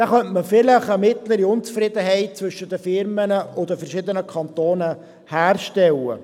Dabei könnte man vielleicht eine mittlere Unzufriedenheit zwischen den Firmen und den verschiedenen Kantonen herstellen.